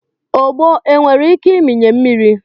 ogbo onwere ike ịmịnye mmiri